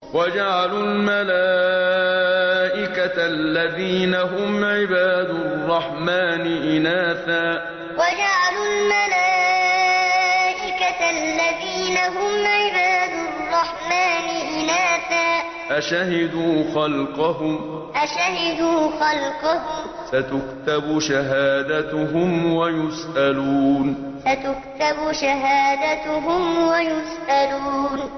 وَجَعَلُوا الْمَلَائِكَةَ الَّذِينَ هُمْ عِبَادُ الرَّحْمَٰنِ إِنَاثًا ۚ أَشَهِدُوا خَلْقَهُمْ ۚ سَتُكْتَبُ شَهَادَتُهُمْ وَيُسْأَلُونَ وَجَعَلُوا الْمَلَائِكَةَ الَّذِينَ هُمْ عِبَادُ الرَّحْمَٰنِ إِنَاثًا ۚ أَشَهِدُوا خَلْقَهُمْ ۚ سَتُكْتَبُ شَهَادَتُهُمْ وَيُسْأَلُونَ